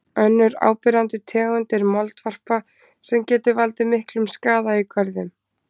Önnur áberandi tegund er moldvarpa sem getur valdið miklum skaða í görðum.